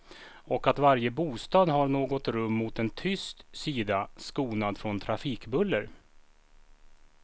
Och att varje bostad har något rum mot en tyst sida, skonad från trafikbuller.